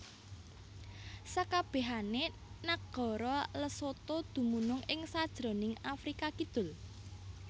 Sakabehane nagara Lesotho dumunung ing sajroning Afrika kidul